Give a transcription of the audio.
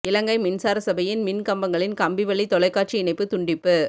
இலங்கை மின்சார சபையின் மின் கம்பங்களில் கம்பி வழி தொலைக்காட்சி இணைப்பு துண்டிப்பு